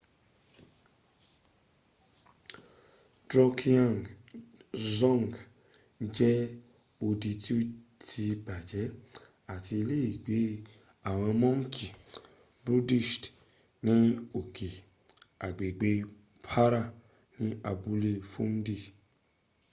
drukgyal dzong jẹ́ odi tí ó ti bàjẹ́ àti iléègbé àwọn mọ́ǹkì buddhist ní òkè agbègbè para ní abúlé phondey